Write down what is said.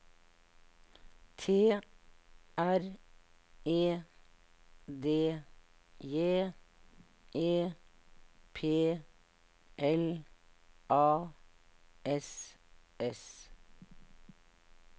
T R E D J E P L A S S